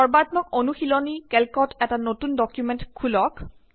সৰ্বাত্মক অনুশিলনী কেল্কত এটা নতুন ডকুমেন্ট খোল্ক